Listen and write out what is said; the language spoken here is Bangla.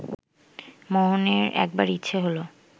মোহনের একবার ইচ্ছে হলো